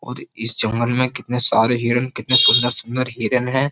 और इस जंगल में कितने सारे हिरण कितने सुंदर- सुंदर हिरण है।